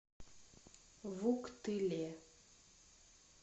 вуктыле